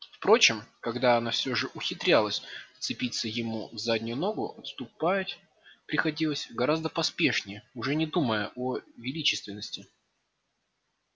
впрочем когда она все же ухитрялась вцепиться ему в заднюю ногу отступать приходилось гораздо поспешнее уже не думая о величественности